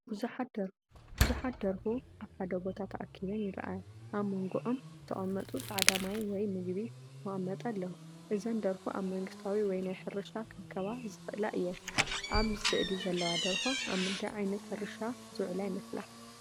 ብዙሓት ደርሁ ኣብ ሓደ ቦታ ተኣኪበን ይረኣያ። ኣብ መንጎኦም ዝተቐመጡ ጻዕዳ ማይ ወይ ምግቢ መቀመጢ ኣለዉ። እዘን ደርሁ ኣብ መንግስታዊ ወይ ናይ ሕርሻ ክረኽባ ዝኽእላ እየን። ኣብ ስእሊ ዘለዋ ደርሆ ኣብ ምንታይ ዓይነት ሕርሻ ዝውዕላ ይመስላ?